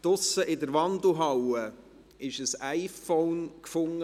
Draussen in der Wandelhalle wurde ein iPhone gefunden.